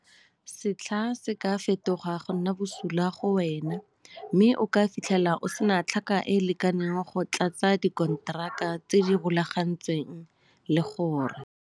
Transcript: a, Setlha se ka fetoga go nna bosula go wena mme o ka fitlhela o se na tlhaka e e lekaneng go tlatsa dikonteraka tse di rulagantsweng, le gore